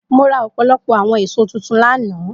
Mo ra ọpọlọpọ awọn eso tuntun lana.